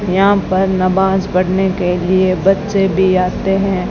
यहां पर नवाज पढ़ने के लिए बच्चे भी आते हैं।